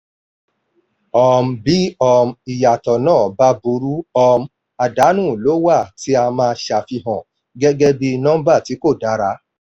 um bí um ìyàtọ̀ náà bá bá buru um àdánù ló wà tí a máa ṣàfihàn gẹ́gẹ́ bí nọ́mbà tí kò dára.